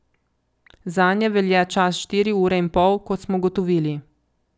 Zanje velja čas štiri ure in pol, kot smo ugotovili.